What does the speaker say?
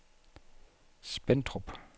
Spentrup